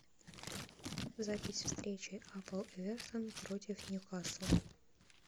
запись встречи апл эвертон против ньюкасл